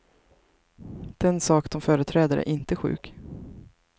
Den sak de företräder är inte sjuk.